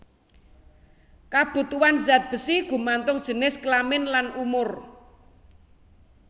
Kabutuhan zat besi gumantung jinis kelamin lan umur